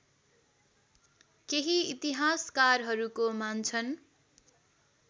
केही इतिहासकारहरूको मान्छन्